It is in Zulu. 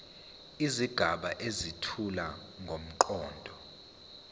izigaba ezethula ngomqondo